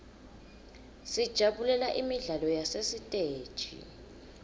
sijabulela imidlalo yasesiteji